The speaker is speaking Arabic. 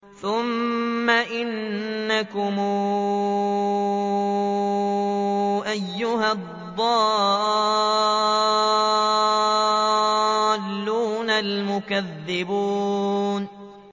ثُمَّ إِنَّكُمْ أَيُّهَا الضَّالُّونَ الْمُكَذِّبُونَ